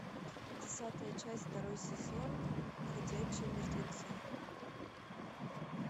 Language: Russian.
десятая часть второй сезон ходячие мертвецы